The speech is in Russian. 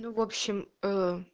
ну в общем ээ